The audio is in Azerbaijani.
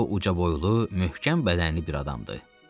O ucaboylu, möhkəm bədənli bir adamdı.